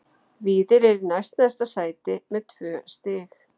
Víðir er í næst neðsta sæti með tvö stig.